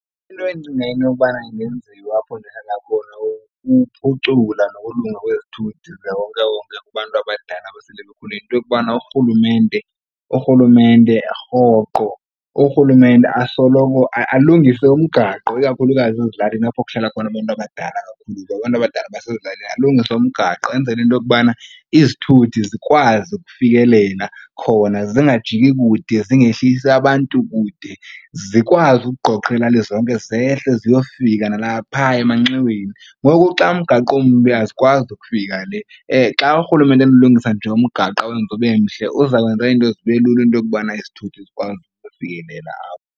Into endicinga into yokubana ingenziwa apho ndihlala khona kukuphucula nokulunga kwezithuthi zikawonkewonke kubantu abadala abasele bekhulile, yinto yokubana urhulumente rhoqo urhulumente asoloko alungise umgaqo ikakhulukazi ezilalini apho kuhlala khona abantu abadala kakhulu. Abantu abadala basezilalini alungise umgaqo enzele into yokubana izithuthi zikwazi ukufikelela khona, zingajiki kude, zingehlisi abantu kude, zikwazi ukuqoqela zonke zehle ziyofika nalapha emanxiweni. Ngoku xa umgaqo umbi azikwazi ukufika le. Xa urhulumente enokulungisa nje umgaqo awenze ubemhle uza kwenza izinto zibe lula into yokubana izithuthi zikwazi ukufikelela apho.